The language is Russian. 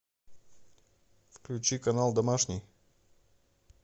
включи канал домашний